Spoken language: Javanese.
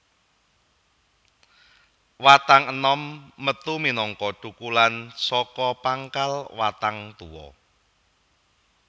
Watang enom metu minangka thukulan saka pangkal watang tuwa